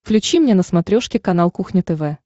включи мне на смотрешке канал кухня тв